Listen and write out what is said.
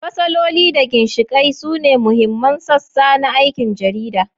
Fasaloli da ginshiƙai sune mahimman sassa na aikin jarida.